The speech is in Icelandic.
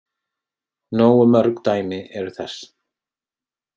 Nógu mörg dæmi eru þess.